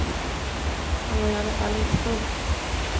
Han var i alla fall inte full.